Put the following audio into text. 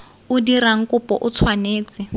o dirang kopo o tshwanetse